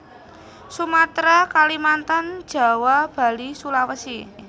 Sumatera Kalimantan Jawa Bali Sulawesi